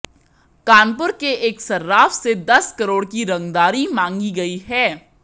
कानपुर के एक सर्राफ से दस करोड़ की रंगदारी मांगी गई है